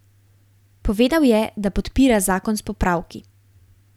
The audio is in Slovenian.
Povedal je, da podpira zakon s popravki.